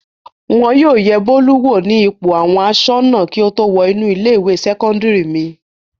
Wọn yóò yẹ Bólú wò ní ipò àwọn aṣọ́nà kí ó tó wọ inú ilé-ìwé sẹ́kọ́ndárì mi.